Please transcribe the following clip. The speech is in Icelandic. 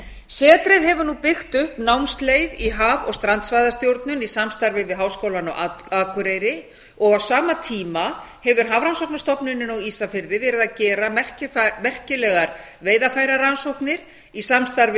setrið hefur nú byggt upp námsleið í haf og strandsvæðastjórnun í samstarfi við háskólann á akureyri á sama tíma hefur hafrannsóknastofnunin á ísafirði verið að gera merkilegar veiðarfærarannsóknir í samstarfi